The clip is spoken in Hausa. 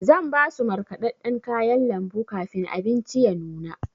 Zan basu markaɗaɗɗan kayan lambu kafin abinci ya nuna.